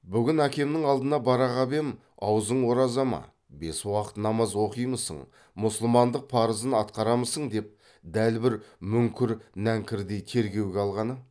бүгін әкемнің алдына бара қап ем аузың ораза ма бес уақыт намаз оқимысың мұсылмандық парызын атқарамысың деп дәл бір мүңкір нәңкірдей тергеуге алғаны